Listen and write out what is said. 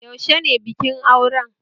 Yaushe ne bikin auren?